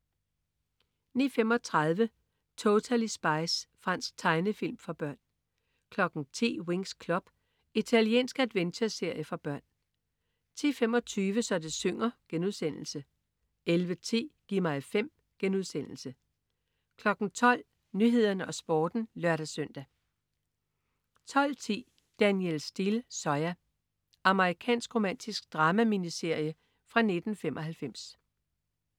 09.35 Totally Spies. Fransk tegnefilm for børn 10.00 Winx Club. Italiensk adventureserie for børn 10.25 Så det synger* 11.10 Gi' mig 5* 12.00 Nyhederne og Sporten (lør-søn) 12.10 Danielle Steel: Zoya. Amerikansk romantisk drama-miniserie fra 1995